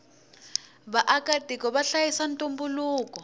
vaaka tiko vahlayisa ntumbuluko